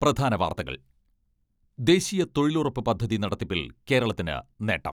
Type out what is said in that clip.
പ്രധാന വാർത്തകൾ ദേശീയ തൊഴിലുറപ്പ് പദ്ധതി നടത്തിപ്പിൽ കേരളത്തിന് നേട്ടം.